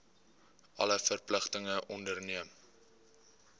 alle verpligtinge onderneem